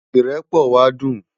Irèpò wá dún